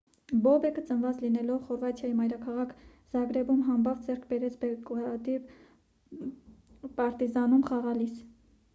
բոբեկը ծնված լինելով խորվաթիայի մայրաքաղաք զագրեբում համբավ ձեռք բերեց բելգրադի «պարտիզան»-ում խաղալիս: